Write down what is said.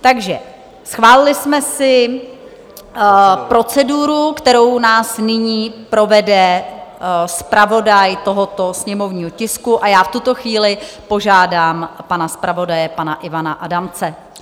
Takže schválili jsme si proceduru, kterou nás nyní provede zpravodaj tohoto sněmovního tisku, a já v tuto chvíli požádám pana zpravodaje, pana Ivana Adamce.